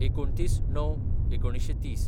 २९/०९/१९३०